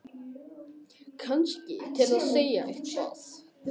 Kannski til að segja eitthvað.